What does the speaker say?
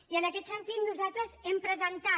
i en aquest sentit nosaltres hem presentat